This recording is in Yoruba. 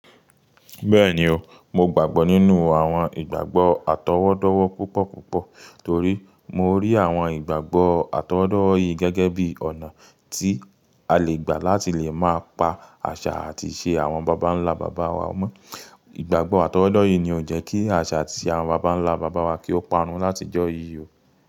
Bẹ́ẹ̀ni o, mo gbàgbọ́ nínú àwọn ìgbàgbọ́ àtọwọ́dọ́wọ́ púpọ̀púpọ̀ torí mo rí àwọn ìgbàgbọ́ àtọwọ́dọ́yìí gẹ́gẹ́ bí ọ̀nà tí a lè gbà láti lè máa pa àṣà àti ìṣe àwọn bàbá ńlá bàbá wa mọ́. Ìgbàgbọ́ àtọwọ́dọ́yìí ni ó ń jẹ́ kí àṣà àti ìṣe àwọn bàbá ńlá bàbá wa kí ó parun látijọ́ yìí o.